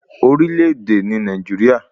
Orílè èdè ni Nàìjíríà